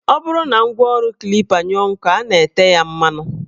Ọ bụrụ na ngwaọrụ Klipa anyụọ nkọ, a na-ete ya mmanụ